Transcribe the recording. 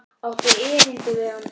Áttu erindi við hann?